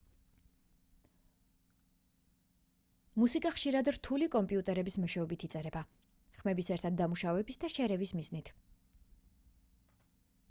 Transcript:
მუსიკა ხშირად რთული კომპიუტერების მეშვეობით იწერება ხმების ერთად დამუშავების და შერევის მიზნით